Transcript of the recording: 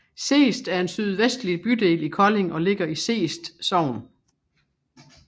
Seest er en sydvestlig bydel i Kolding og ligger i Seest Sogn